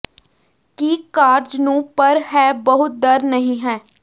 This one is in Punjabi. ਕੀ ਕਾਰਜ ਨੂੰ ਪਰ ਹੈ ਬਹੁਤ ਡਰ ਨਹੀ ਹੈ